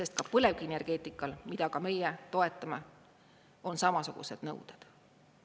Sest ka põlevkivienergeetikal, mida ka meie toetame, on samasugused nõuded.